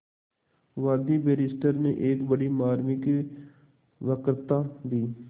वादी बैरिस्टर ने एक बड़ी मार्मिक वक्तृता दी